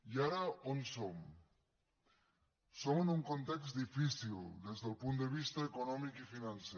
i ara on som som en un context difícil des del punt de vista econòmic i financer